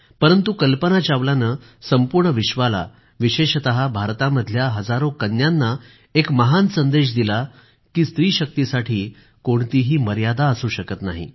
परंतु कल्पना चावलानं संपूर्ण विश्वाला विशेषतः भारतामधल्या हजारो कन्यांना एक महान संदेश दिला की स्त्रीशक्तीसाठी कोणतीही मर्यादा असू शकत नाही